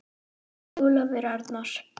Ólafur Arnar.